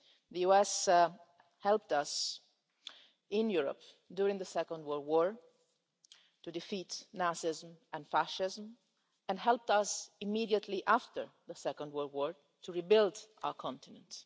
The USA helped us in Europe, during the Second World War, to defeat Nazism and fascism, and helped us immediately after the Second World War to rebuild our continent.